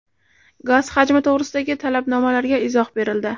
Gaz hajmi to‘g‘risidagi talabnomalarga izoh berildi.